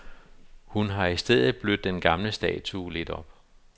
Hun har i stedet blødt den gamle statue lidt op.